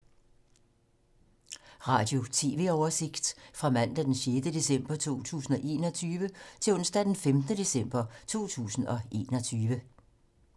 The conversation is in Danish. Radio/TV oversigt fra mandag d. 6. december 2021 til onsdag d. 15. december 2021